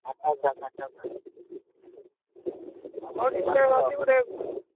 ମାକାଦ ମାକାନା ରବି ଘଡେଇ।